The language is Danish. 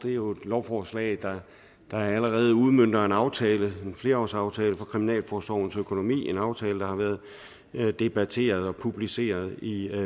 er jo et lovforslag der allerede udmønter en aftale en flerårsaftale for kriminalforsorgens økonomi en aftale der har været debatteret og publiceret i